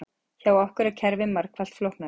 Hjá okkur er kerfið margfalt flóknara